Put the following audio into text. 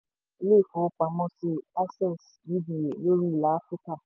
ilé ìfowópamọ́sí access uba lórí ilà áfíríkà.